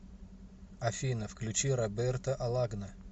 афина включи роберто алагна